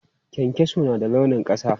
Kyankyaso na da launin ƙasa.